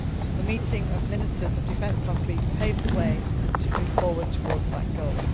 The meeting of Ministers of Defence last week paved the way to move forward towards that goal.